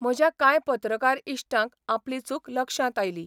म्हज्या कांय पत्रकार इश्टांक आपली चूक लक्षांत आयली.